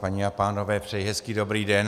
Paní a pánové, přeji hezký dobrý den.